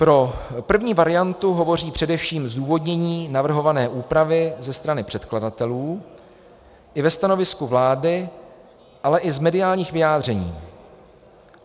Pro první variantu hovoří především zdůvodnění navrhované úpravy ze strany předkladatelů, i ve stanovisku vlády, ale i z mediálních vyjádření.